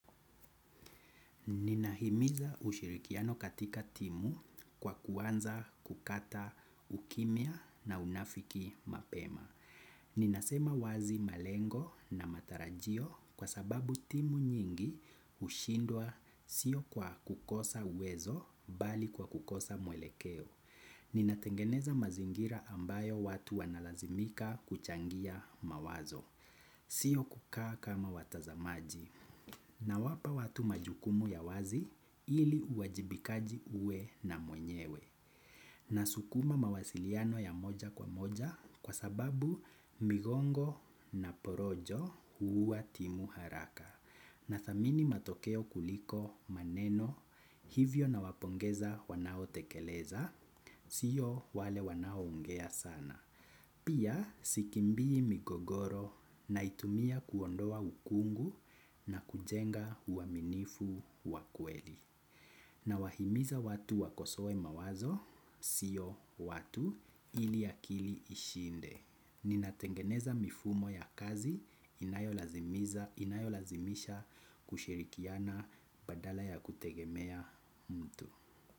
Ninahimiza ushirikiano katika timu kwa kuanza kukata ukimya na unafiki mapema. Ninasema wazi malengo na matarajio kwa sababu timu nyingi hushindwa sio kwa kukosa uwezo bali kwa kukosa mwelekeo. Ninatengeneza mazingira ambayo watu wanalazimika kuchangia mawazo. Sio kukaa kama watazamaji. Nawapa watu majukumu ya wazi ili uwajibikaji uwe na mwenyewe nasukuma mawasiliano ya moja kwa moja kwa sababu migongo na porojo huuwa timu haraka na thamini matokeo kuliko maneno hivyo na wapongeza wanao tekeleza sio wale wanao ongea sana. Pia sikimbii migogoro naitumia kuondoa ukungu na kujenga uaminifu wakweli. Nawahimiza watu wakosowe mawazo, sio watu ili akili ishinde. Ninatengeneza mifumo ya kazi inayo lazimisha kushirikiana badala ya kutegemea mtu.